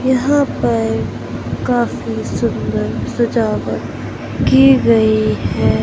यहां पर काफी सुंदर सजावट की गई है।